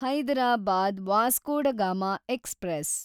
Hyderabad Vasco da Gama express